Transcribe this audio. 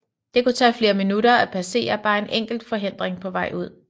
Det kunne tage flere minutter at passere bare en enkelt forhindring på vej ud